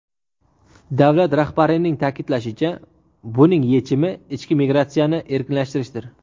Davlat rahbarining ta’kidlashicha, buning yechimi ichki migratsiyani erkinlashtirishdir.